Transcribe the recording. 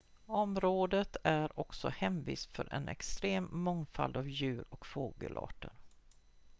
området är också hemvist för en extrem mångfald av djur- och fågelarter